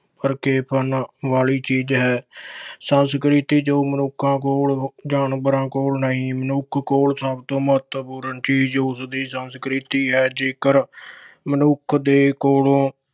ਕਰਨ ਵਾਲੀ ਚੀਜ਼ ਹੈ। ਸੰਸਕ੍ਰਿਤ ਵਿੱਚ ਜੋ ਮਨੁੱਖਾਂ ਕੋਲ, ਜਾਨਵਰਾਂ ਕੋਲ ਨਹੀਂ। ਮਨੁੱਖ ਕੋਲ ਸਭ ਤੋਂ ਮਹਤਵਪੂਰਨ ਚੀਜ਼ ਉਸਦੀ ਸੰਸਕ੍ਰਿਤੀ ਹੈ, ਜੇਕਰ ਮਨੁੱਖ ਦੇ ਕੋਲੋਂ